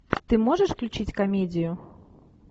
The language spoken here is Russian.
ты можешь включить комедию